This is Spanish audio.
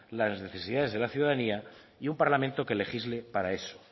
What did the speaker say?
las necesidades de la ciudadanía y un parlamento que legisle para eso